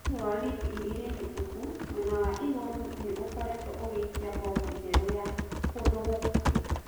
Thĩini wa wiki igĩrĩ hĩtũku mwena wa igũrũ nĩũkoretuo ũgĩikia mbomu njerũ ya kũndũ gũkuhĩ